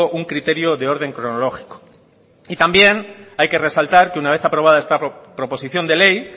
un criterio de orden cronológico y también hay que resaltar que una vez aprobada esta proposición de ley